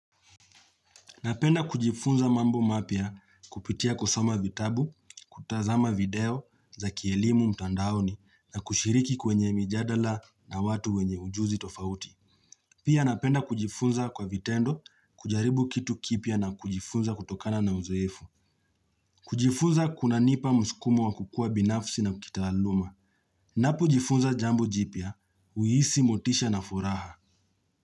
Napenda kujifunza mambo mapya kupitia kusoma vitabu, kutazama video za kielimu mtandaoni na kushiriki kwenye mijadala na watu wenye ujuzi tofauti. Pia napenda kujifunza kwa vitendo kujaribu kitu kipya na kujifunza kutokana na uzoefu. Kujifunza kunanipa msukumu wa kukua binafsi na kitaaluma. Ninapo jifunza jambo jipya, huhisi motisha na furaha.